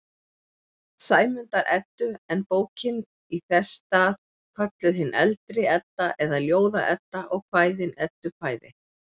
Sæmundar-Eddu, en bókin í þess stað kölluð hin eldri Edda eða Ljóða-Edda og kvæðin eddukvæði.